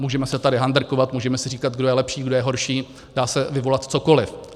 Můžeme se tady handrkovat, můžeme si říkat, kdo je lepší, kdo je horší, dá se vyvolat cokoliv.